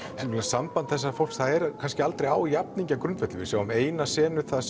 samband þessa fólks það er kannski aldrei á jafningjagrundvelli við sjáum eina senu þar